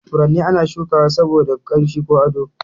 Furanni ana shuka wa saboda ƙanshi ko ado.